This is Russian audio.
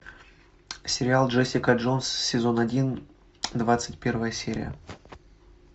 сериал джессика джонс сезон один двадцать первая серия